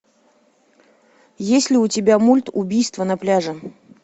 есть ли у тебя мульт убийство на пляже